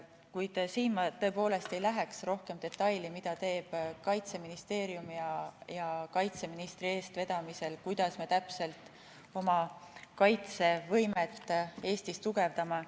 Kuid siin ma tõepoolest ei läheks rohkem detailidesse selles, mida teeb Kaitseministeerium kaitseministri eestvedamisel ja kuidas me täpselt oma kaitsevõimet Eestis tugevdame.